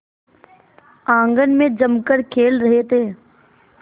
आंगन में जमकर खेल रहे थे